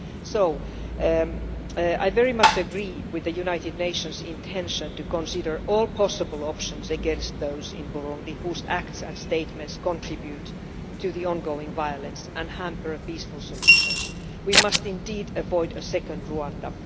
So I very much agree with the United Nations' intention to consider all possible options against those in Burundi whose acts and statements contribute to the ongoing violence and hamper a peaceful solution. We must indeed avoid a second Rwanda.